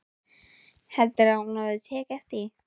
Heldurðu að hún hafi tekið eftir því?